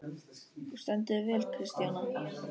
Þú stendur þig vel, Kristjóna!